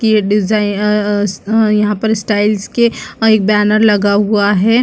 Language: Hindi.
की ये डिजाइन अ अ यहाँ पर स्टाइल के बैनर लगा हुआ है।